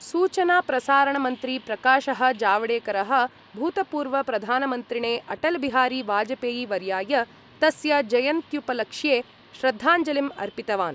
सूचनाप्रसारणमन्त्री प्रकाश: जावडेकर: भूतपूर्वप्रधानमन्त्रिणे अटलबिहारी वाजपेयीवर्य्याय तस्य जयन्तुपलक्ष्ये श्रद्धाञ्जलिं अर्पितवान्।